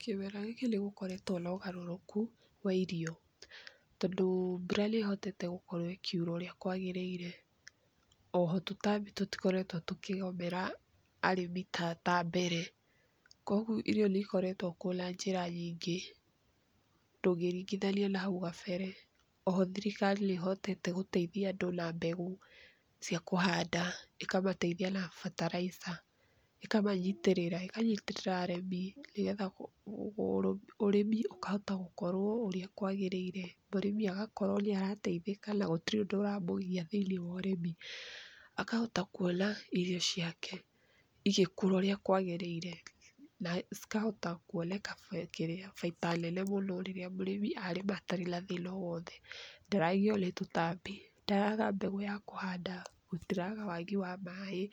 Kĩmera gĩkĩ nĩgũkoretwo na ũgarũrũku wa irio tondũ mbura nĩhotete gũkorwo ĩkĩura ũrĩa kwagĩrĩire oho tũtambi tũtikoretwo tũkĩgũmĩra arĩmi ta mbere koguo irio nĩikoretwo kuo na njĩra nyingĩ ndũngĩringithania na hau kabere. Oho thirikari nĩhotete gũteithia andũ na mbegũ cia kũhanda ikamateithia na bataraica ikamanyitĩrĩra ĩkanyitĩrĩra arĩmi nĩgetha ũrĩmi ũahota gũkorwo ũrĩa kwagĩrĩire mũrĩmi agakorwo nĩarateithĩka na gũtĩre ũndũ ũramũgia thĩinĩ wa ũrĩmi akahota kuona irio ciake igĩkũra ũrĩa kwagĩrĩire na ikahota kuoneka baida nene mũno rĩrĩa mũrĩmi atarĩ na thĩna o wothe ndaragio nĩ tũtambi ndaraga mbegũ a kũhanda na ndaraga wagi wa maaĩ